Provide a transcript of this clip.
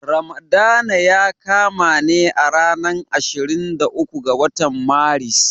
Ramadana ya kama ne a ranar ashirin da uku ga watan Maris.